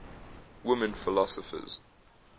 women philosophers